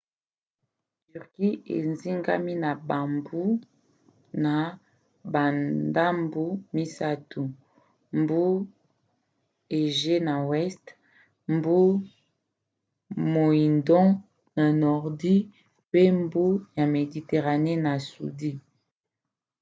turquie ezingami na bambu na bandambu misato: mbu égée na weste mbu moindo na nordi pe mbu ya mediterane na sudi